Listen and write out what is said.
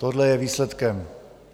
Tohle je výsledkem.